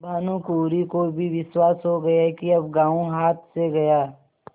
भानुकुँवरि को भी विश्वास हो गया कि अब गॉँव हाथ से गया